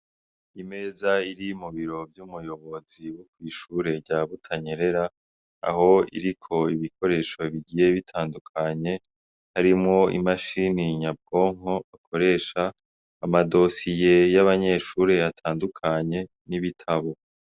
Imeza iri mu biro vy' umuyobozi wokw’ishure rya Butanyerera aho iriko ibikoresho bigiye bitandukanye harimwo imashini nyabwonko akoresha amadosiye y' abanyeshure atandukanye n' ibitabo.